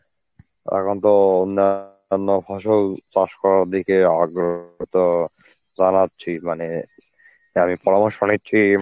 এখন তো অন্য, অন্য ফসল চাষ করার দিকে আগ্রহ এত জানাচ্ছি মানে পরামর্শ নিছি